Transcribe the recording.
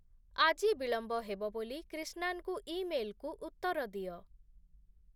ଆଜି ବିଳମ୍ବ ହେବ ବୋଲି କ୍ରିଶ୍ନାନଙ୍କୁ ଇମେଲକୁ ଉତ୍ତର ଦିଅ